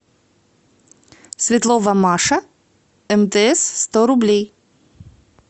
светлова маша мтс сто рублей